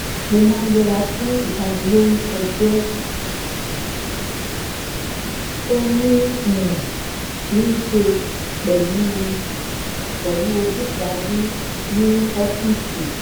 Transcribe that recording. mo máa ń yẹra fún ìbanilórúkọjẹ́ tó ní um í ṣe pẹ̀lú ojúṣàájú ní ní ọ́fíìsì